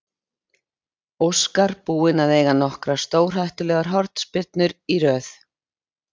Óskar búinn að eiga nokkrar stórhættulegar hornspyrnur í röð.